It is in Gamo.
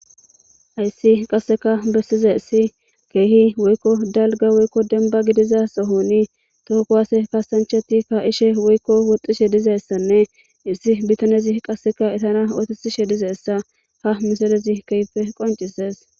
ayssi qasseka bessize issi keehi woykko dalga woykko demba gidiza sohoni tookowaase kasancheti kaishe woykko woxxishe dizeyssanne issi bitanezi qasseka itana ootitishe dizeessa ha miselezi keeyfe qoncises